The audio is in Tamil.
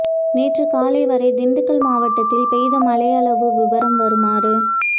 நேற்றுக் காலை வரை திண்டுக்கல் மாவட்டத்தில் பெய்த மழையளவு விபரம் வருமாறு